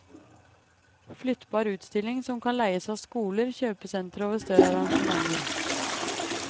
Flyttbar utstilling som kan leies av skoler, kjøpesentre og ved større arrangementer.